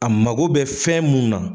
A mako bɛ fɛn munna